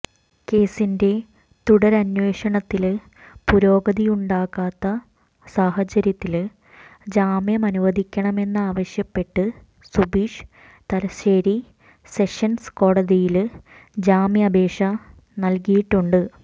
കേസിന്റെ തുടരന്വേഷണത്തില് പുരോഗതിയുണ്ടാകാത്ത സാഹചര്യത്തില് ജാമ്യമനുവദിക്കണമെന്നാവശ്യപ്പെട്ട് സുബീഷ് തലശ്ശേരി സെഷന്സ് കോടതിയില് ജാമ്യാപേക്ഷ നല്കിയിട്ടുണ്ട്